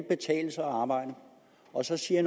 betale sig at arbejde og så siger